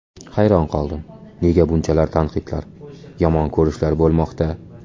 Hayron qoldim, nega buncha tanqidlar, yomon ko‘rishlar bo‘lmoqda.